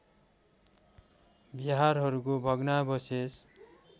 विहारहरूको भग्नावशेष